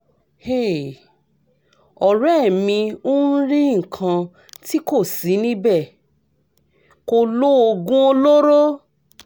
hey! ọ̀rẹ́ mi o rí nǹkan tí kò sí níbẹ̀ kò lo oògùn olóró